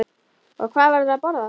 Og hvað verður að borða?